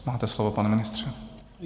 Máte slovo, pane ministře.